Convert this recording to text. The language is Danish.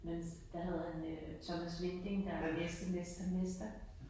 Men der havde han øh Thomas Winding der læste Mester Mester